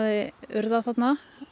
urðað þarna